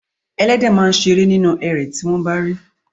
Ẹléde máa a ṣeré nínú erè tí wọ́n bá rí i.